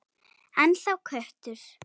Ennþá köttur.